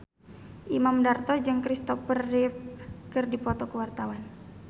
Imam Darto jeung Kristopher Reeve keur dipoto ku wartawan